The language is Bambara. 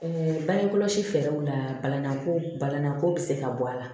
bange kɔlɔsi fɛɛrɛw la balaninan ko balanko bi se ka bɔ a la